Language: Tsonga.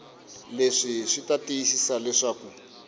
leswi swi ta tiyisisa leswaku